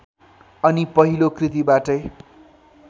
अनि पहिलो कृतिबाटै